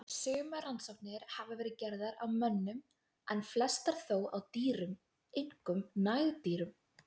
Sumar rannsóknir hafa verið gerðar á mönnum en flestar þó á dýrum, einkum nagdýrum.